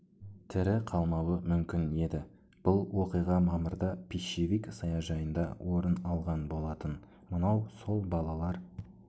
тірі қалмауы мүмкін еді бұл оқиға мамырда пищевик саяжайында орын алған болатын мынау сол балалар